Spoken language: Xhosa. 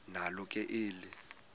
nalo ke eli